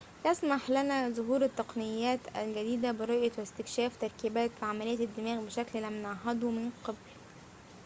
يسمح لنا ظهور التقنيات الجديدة برؤية واستكشاف تركيبات وعمليات الدماغ بشكل لم نعهده من قبل